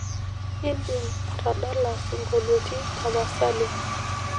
idim atadala siongoliotin tapasali